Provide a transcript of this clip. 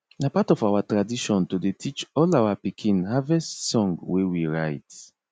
na part of our tradition to dey teach all our pikin harvest song wey we write